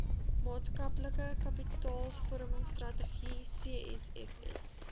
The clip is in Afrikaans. maatskaplike kapitaalvormingstrategie scfs